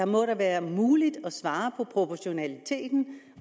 må da være muligt at svare proportionalitet